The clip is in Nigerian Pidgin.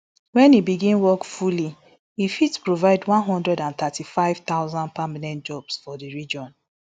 wen e begin work fully e fit provide one hundred and thirty-five thousand permanent jobs for di region